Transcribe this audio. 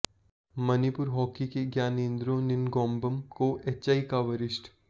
Manipur hockey के ज्ञानेंद्रो निनगोमबम को HI का वरिष्ठ